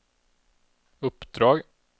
uppdrag